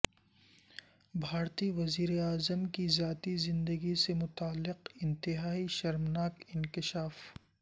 بھارتی وزیراعظم کی ذاتی زندگی سے متعلق انتہائی شرمناک انکشاف